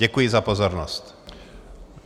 Děkuji za pozornost.